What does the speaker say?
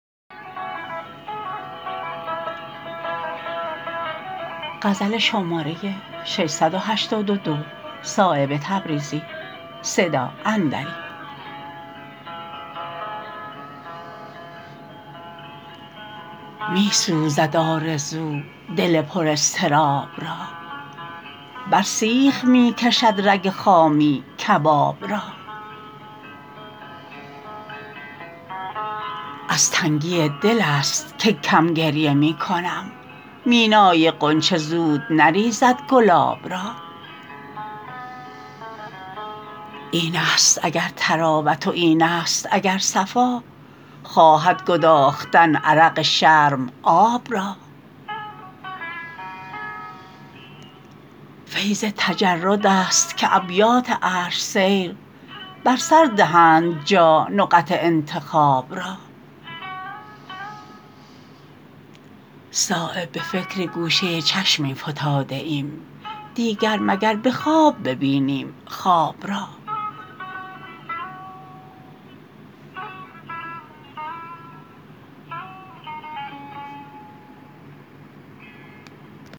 می سوزد آرزو دل پراضطراب را بر سیخ می کشد رگ خامی کباب را از تنگی دل است که کم گریه می کنم مینای غنچه زود نریزد گلاب را این است اگر طراوت و این است اگر صفا خواهد گداختن عرق شرم آب را فیض تجردست که ابیات عرش سیر بر سر دهند جا نقط انتخاب را صایب به فکر گوشه چشمی فتاده ایم دیگر مگر به خواب ببینیم خواب را